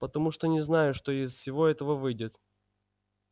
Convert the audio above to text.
потому что не знаю что из всего этого выйдет